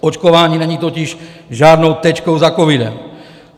Očkování není totiž žádnou tečkou za covidem.